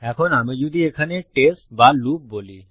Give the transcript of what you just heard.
এখন আমি যদি এখানে টেস্ট বা লুপ বলি